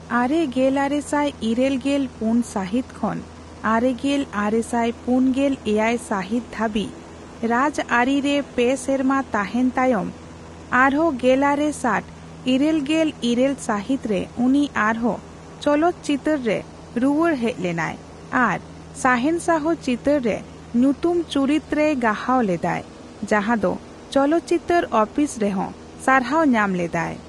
ᱟᱨᱮᱜᱮᱞᱟᱨᱮᱥᱟᱭ ᱤᱨᱟᱹᱞᱜᱮᱞ ᱯᱩᱱ ᱥᱟᱹᱦᱤᱛ ᱠᱷᱚᱱ ᱟᱨᱮᱜᱮᱞ ᱟᱨᱮᱥᱟᱭ ᱯᱩᱱᱜᱮᱞ ᱮᱭᱟᱭ ᱥᱟᱹᱦᱤᱛ ᱫᱷᱟᱹᱵᱤᱡ ᱨᱟᱡᱽ ᱟᱹᱨᱤ ᱨᱮ ᱯᱮ ᱥᱮᱨᱢᱟ ᱛᱟᱸᱦᱮᱱ ᱛᱟᱭᱚᱢ ᱟᱨᱮᱜᱮᱞᱟᱨᱮ ᱥᱟᱴ ᱤᱨᱟᱹᱞᱜᱮᱞ ᱤᱨᱟᱹᱞ ᱥᱟᱹᱦᱤᱛ ᱨᱮ ᱩᱱᱤ ᱟᱨᱦᱚᱸ ᱪᱚᱞᱚᱛ ᱪᱤᱛᱟᱹᱨᱨᱮ ᱨᱩᱭᱟᱹᱲ ᱦᱮᱡ ᱞᱮᱱᱟᱭ ᱾ ᱟᱨ 'ᱥᱟᱦᱮᱱᱥᱟᱦᱚ' ᱪᱤᱛᱟᱹᱨᱨᱮ ᱧᱩᱛᱩᱢ ᱪᱩᱨᱤᱛ ᱨᱮᱭ ᱜᱟᱦᱟᱣ ᱞᱮᱫᱟᱭ, ᱡᱟᱸᱦᱟ ᱫᱚ ᱪᱚᱞᱚᱛ ᱪᱤᱛᱟᱹᱨ ᱟᱹᱯᱤᱥ ᱨᱮᱦᱚᱸ ᱥᱟᱨᱦᱟᱣ ᱧᱟᱢ ᱞᱮᱫᱟᱭ ᱾